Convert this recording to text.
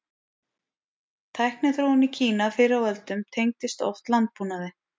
Tækniþróun í Kína fyrr á öldum tengdist oft landbúnaði.